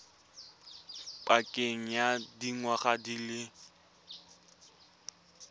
pakeng ya dingwaga di le